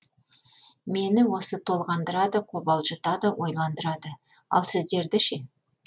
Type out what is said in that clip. мені осы толғандырады қобалжытады ойландырады ал сіздерді ше